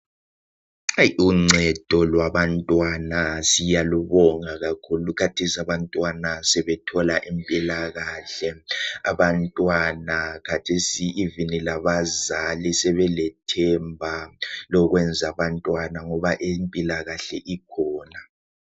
Uncedo lwabantwana siyalubonga kakhulu kathesi abantwana sebethola impilakahle. Abantwana kathesi even labazali sebelethemba lokwenza abantwana ngoba impilakahle ikhona.